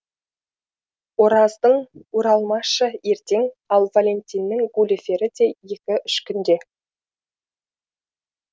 ораздың уралмашы ертең ал валентиннің гуливері де екі үш күнде